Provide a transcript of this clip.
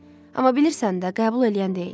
Amma bilirsən də, qəbul eləyən deyil.